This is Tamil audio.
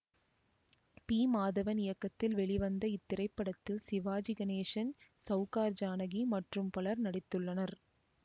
பி மாதவன் இயக்கத்தில் வெளிவந்த இத்திரைப்படத்தில் சிவாஜி கணேசன் சௌகார் ஜானகி மற்றும் பலர் நடித்துள்ளனர்